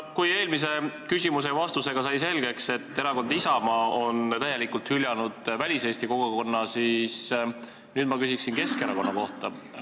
Kui eelmise küsimuse ja vastusega sai selgeks, et erakond Isamaa on täielikult hüljanud väliseesti kogukonna, siis nüüd ma küsin Keskerakonna kohta.